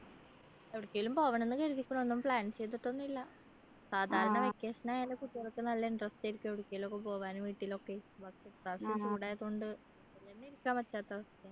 എവിടെക്കേലും പോകണം ന്നു കരുതീക്കുണു ഒന്നും plan ചെയ്തിട്ടൊന്നും ഇല്ല സാധാരണ vacation ആയാല് കുട്ടികൾക്ക് നല്ല interest ആയിരിക്കും എവിടെക്കേലും ഒക്കെ പോകാന് വീട്ടിലൊക്കെ പക്ഷെ ഇപ്രാവശ്യം ചൂടായതുകൊണ്ട് വീട്ടിൽ എന്നെ ഇരിക്കാൻ പറ്റാത്ത അവസ്ഥയാ